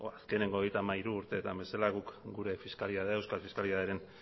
azkeneko hogeita hamairu urteetan guk gure fiskalitatea euskal fiskalitatearen